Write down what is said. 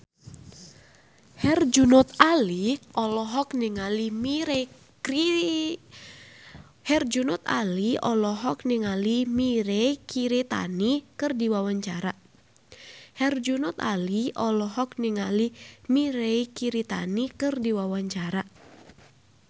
Herjunot Ali olohok ningali Mirei Kiritani keur diwawancara